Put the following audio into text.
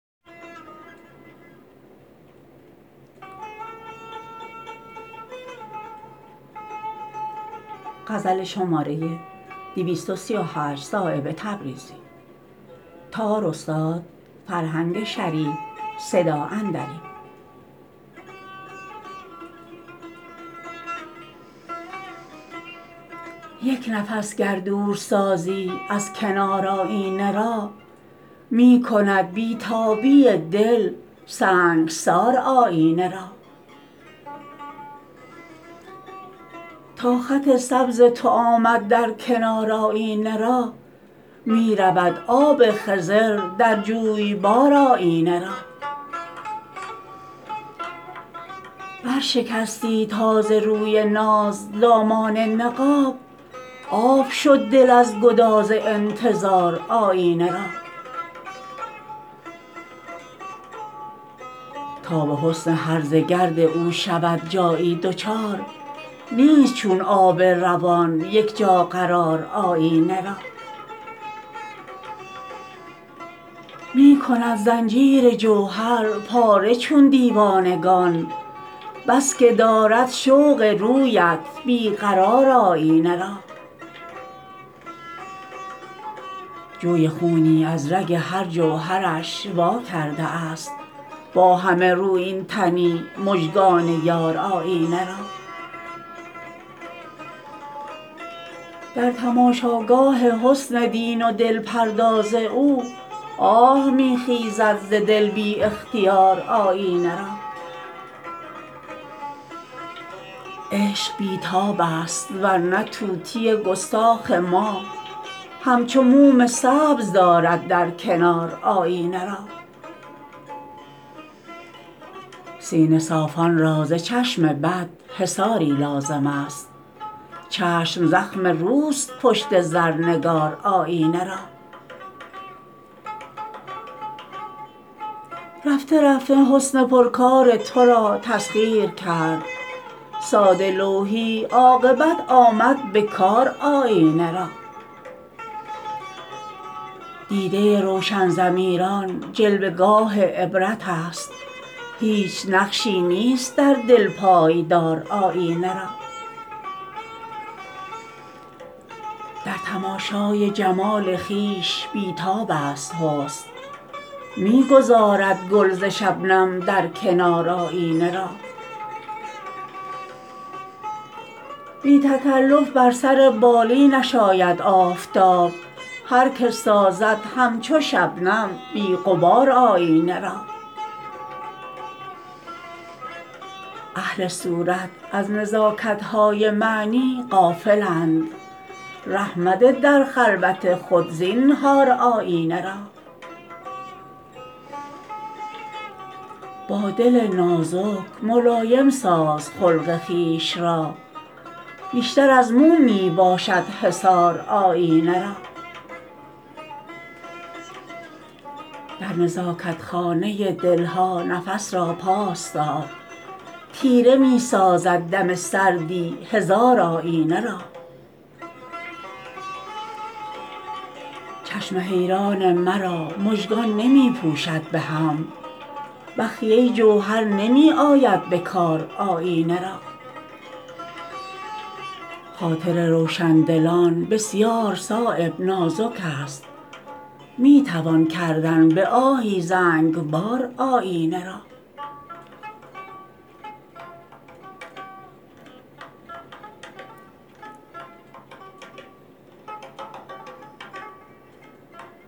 یک نفس گر دور سازی از کنار آیینه را می کند بی تابی دل سنگسار آیینه را تا خط سبز تو آمد در کنار آیینه را می رود آب خضر در جویبار آیینه را بر شکستی تا ز روی ناز دامان نقاب آب شد دل از گداز انتظار آیینه را تا به حسن هرزه گرد او شود جایی دچار نیست چون آب روان یک جا قرار آیینه را می کند زنجیر جوهر پاره چون دیوانگان بس که دارد شوق رویت بی قرار آیینه را جوی خونی از رگ هر جوهرش وا کرده است با همه رویین تنی مژگان یار آیینه را در تماشاگاه حسن دین و دل پرداز او آه می خیزد ز دل بی اختیار آیینه را عشق بی تاب است ورنه طوطی گستاخ ما همچو موم سبز دارد در کنار آیینه را سینه صافان را ز چشم بد حصاری لازم است چشم زخم روست پشت زرنگار آیینه را رفته رفته حسن پرکار ترا تسخیر کرد ساده لوحی عاقبت آمد به کار آیینه را دیده روشن ضمیران جلوه گاه عبرت است هیچ نقشی نیست در دل پایدار آیینه را در تماشای جمال خویش بی تاب است حسن می گذارد گل ز شبنم در کنار آیینه را بی تکلف بر سر بالینش آید آفتاب هر که سازد همچو شبنم بی غبار آیینه را اهل صورت از نزاکت های معنی غافلند ره مده در خلوت خود زینهار آیینه را با دل نازک ملایم ساز خلق خویش را بیشتر از موم می باشد حصار آیینه را در نزاکت خانه دل ها نفس را پاس دار تیره می سازد دم سردی هزار آیینه را چشم حیران مرا مژگان نمی پوشد به هم بخیه جوهر نمی آید به کار آیینه را خاطر روشندلان بسیار صایب نازک است می توان کردن به آهی زنگبار آیینه را